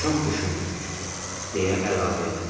Çox düşündürücüdür deyə əlavə elədi.